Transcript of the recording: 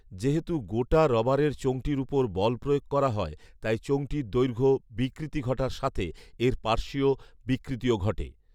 যেহেতু গোটা রবারের চোঙটির ওপর বল প্ৰয়োগ করা হয়, তাই চোঙটির দৈৰ্ঘ্য বিকৃতি ঘটার সাথে এর পাৰ্শ্বীয় বিকৃতিও ঘটে